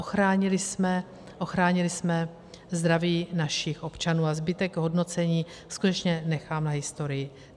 Ochránili jsme zdraví našich občanů a zbytek hodnocení skutečně nechám na historii.